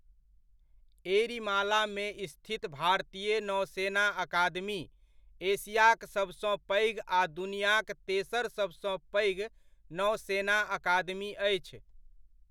एड़िमालामे स्थित भारतीय नौसेना अकादमी, एशियाक सभसँ पैघ आ दुनिआक तेसर सभसँ पैघ नौसेना अकादमी अछि।